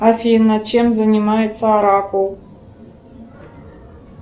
афина чем занимается оракул